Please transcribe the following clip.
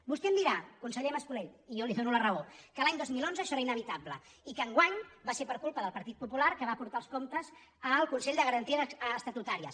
vostè em dirà conseller mas·colell i jo li dono la raó que l’any dos mil onze això era inevitable i que enguany va ser per culpa del partit popular que va portar els comptes al consell de garanties estatutàries